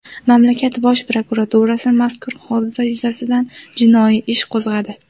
Mamlakat bosh prokuraturasi mazkur hodisa yuzasidan jinoiy ish qo‘zg‘adi.